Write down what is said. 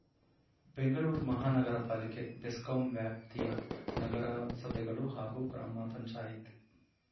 ಬೆಂಗಳೂರು ಮಹಾನಗರ ಪಾಲಿಕೆ ಬೆಸ್ಕಾಂ ವ್ಯಾಪ್ತಿಯ ನಗರಸಭೆಗಳು ಹಾಗೂ ಗ್ರಾಮಪಂಚಾಯಿತ್